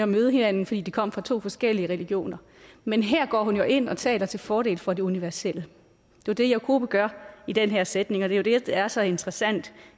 møde hinanden fordi de kom fra to forskellige religioner men her går hun ind og taler til fordel for det universelle det er det jakobe gør i den her sætning og det er det der er så interessant